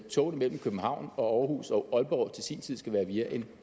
togene mellem københavn og aarhus og aalborg til sin tid skal være via en